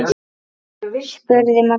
spurði Magnús.